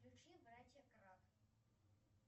включи братья град